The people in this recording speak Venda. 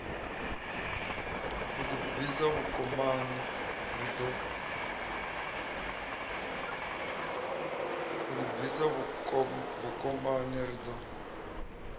a ḓibvisa vhukomani ri ḓo